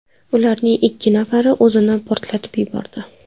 Ularning ikki nafari o‘zini portlatib yubordi.